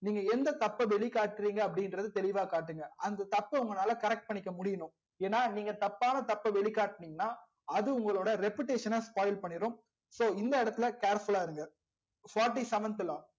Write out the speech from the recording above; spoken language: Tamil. நீங்க எந்த தப்ப வெளிகாற்றிங்க அப்டி இங்கர்த தெளிவா காட்டுங்க அந்த தப்ப உங்களால correct பண்ணிக்க முடியனும் ஏனா நீங்க தப்பான தப்ப வெளி காட்னிங்கனா அது உங்கலோட reputation நா spoil பண்ணிரும் so இந்த எடத்துல careful லா இருங்க fourty seventh law